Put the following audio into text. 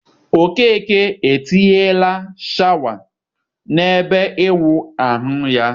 Okeke etinyela shawa n'ebe ịwụ ahụ ya.